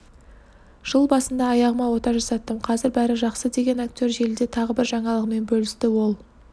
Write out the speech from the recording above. жыл басында аяғыма ота жасаттым қазір бәрі жақсы деген актер желіде тағы бір жаңалығымен бөлісті ол